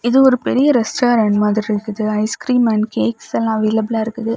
இது ஒரு பெரியக் ரெஸ்டாரெண்ட் மாதி இருந்துக்கு ஐஸ்கிரீம்ஸ் அண்ட் கேக்ஸ்ல அவைளப்பில்லா இருக்குது.